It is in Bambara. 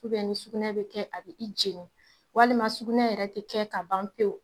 ni sukunɛ bi kɛ a bɛ i jeni, walima sugunɛ yɛrɛ tɛ kɛ ka ban pewu.